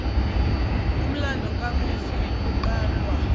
umlando ngomufi kuqalwa